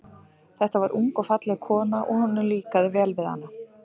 Þetta var ung og falleg kona, og honum líkaði vel við hana.